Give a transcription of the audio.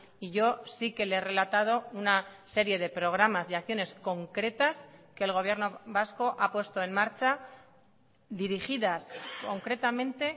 y yo sí que le he relatado una serie de programas y acciones concretas que el gobierno vasco ha puesto en marcha dirigidas concretamente